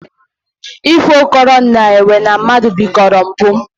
Ifo kọrọ na enwe na mmadụ bikoro mbụ